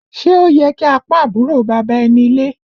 Ṣé o yẹ ki a pọ́n àbúrò bàbá ẹni lé?